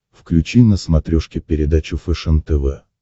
включи на смотрешке передачу фэшен тв